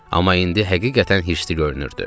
Amma indi həqiqətən hirslü görünürdü.